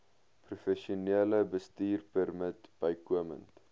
professionele bestuurpermit bykomend